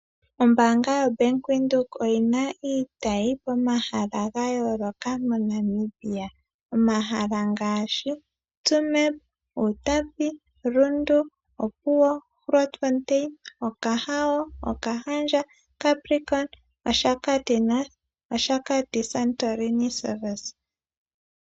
Ombaanga yo bank Windhoek oyina iitayi momahala ga yooloka mo Namibia. Omahala ngaashi Tsumeb ,Uutapi, Rundu ,Opuwo, Grontfontain, Okahandja ,Okahao noOshakati Santoline service.